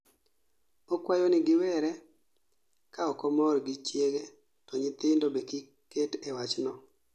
Okwayo ni giwere ka okomor gi chiege to nyithindo be kik ket e wachno